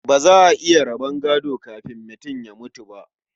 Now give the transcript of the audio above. Ba za a iya raba gado kafin mutum ya mutu ba.